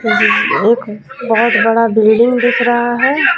एक बहुत बड़ा बिल्डिंग दिख रहा है.